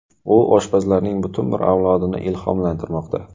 U oshpazlarning butun bir avlodini ilhomlantirmoqda.